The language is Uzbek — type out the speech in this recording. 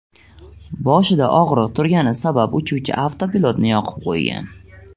Boshida og‘riq turgani sabab uchuvchi avtopilotni yoqib qo‘ygan.